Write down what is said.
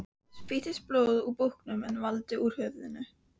Spýttist blóð úr búknum en vall úr höfðinu.